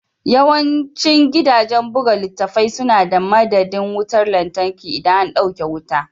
Yawancin gidajen buga littattafai suna da madadin wutar lantarki idan an dauke wuta.